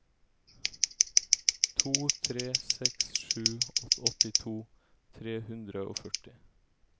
to tre seks sju åttito tre hundre og førti